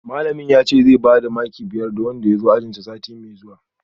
Malamin yace zai bada maki biyar ga wanda ya zo ajinsa sati mai zuwa